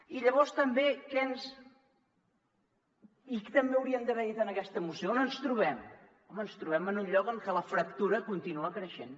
i llavors també què hauríem d’haver dit en aquesta moció on ens trobem home ens trobem en un lloc en què la fractura continua creixent